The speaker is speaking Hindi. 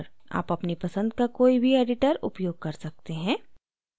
आप अपनी पसंद का कोई भी editor उपयोग कर सकते हैं